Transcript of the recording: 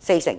四成。